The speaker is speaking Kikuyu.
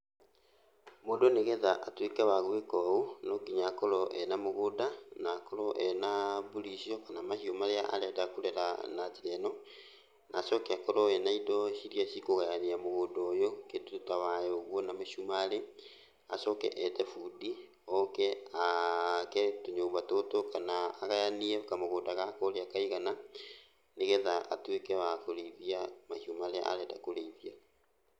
Mũndũ nĩgetha atuĩke wa gwĩka ũũ, no nginya akorwo ena mũgũnda, na akorwo ena mbũri icio, kana mahiũ marĩa arenda kũrera na njĩra ĩno. Na acoke akorwo ena indo irĩa cikũgayania mũgũnda ũyũ, kĩndũ ta waya ũguo na mĩcumarĩ. Acoke ete bundi, oke ake tũnyũmba tũtũ kana agayanie kamũgũnda gaka ũrĩa kaigana, nĩgetha atuĩke wa kũrĩithia mahiũ marĩa arenda kũrĩithia.